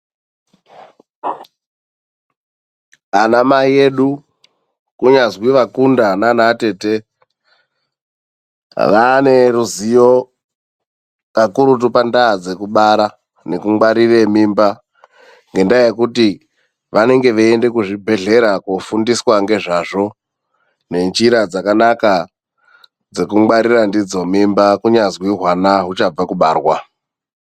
Anamai edu kunyazwi vakunda nanaatete ,vaaneruzivo kakurutu pandaa dzekubara nekungwarire mimba. Ngendaa yekuti vanenge veyienda kuzvibhedhlera kofundiswa ngezvazvo nenjira dzakanaka dzekungwarira ndidzo mimba ,kunyazwi hwana huchabva kubarwa.